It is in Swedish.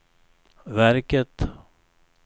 verket